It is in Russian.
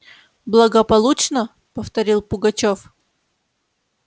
благополучно повторил пугачёв